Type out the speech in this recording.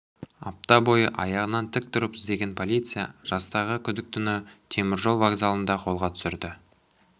апта бойы аяғынан тік тұрып іздеген полиция жастағы күдіктіні теміржол вокзалында қолға түсірді